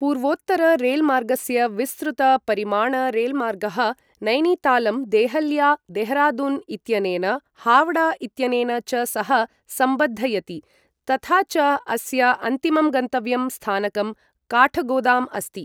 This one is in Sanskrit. पूर्वोत्तर रेलमार्गस्य विस्तृत परिमाण रेलमार्गः नैनीतालं, देहल्या, देहरादून् इत्यनेन, हावड़ा इत्यनेन च सह सम्बद्धयति तथा च अस्य अन्तिमं गन्तव्यं स्थानकं काठगोदाम् अस्ति।